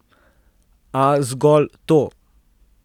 A zgolj to!